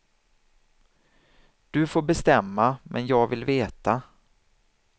Du får bestämma, men jag vill veta.